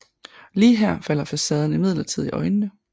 Lige her falder facaden imidlertid i øjnene